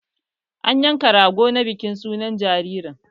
An yanka Rago na bikin sunan jiririn